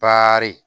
Bari